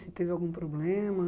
Se teve algum problema?